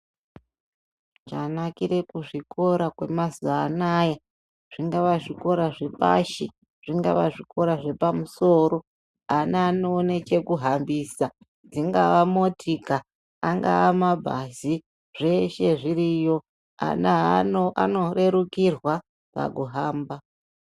Chanakira zvikora kwemazuva anaya ,zvingave zvikora zvepashi , zvingave zvikora zvepamusoro ana anoone chekuhambisa ,dzingave motika ,angave mabhazi zveshe zviriyo ana anorerukirwa pakuhamba.